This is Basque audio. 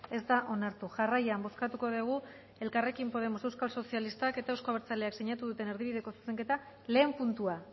ez da onartu jarrian bozkatuko dugu elkarrekin podemos euskal sozialistak ets euzko abertzaleak sinatu duten erdibideko zuzenketaren lehen puntua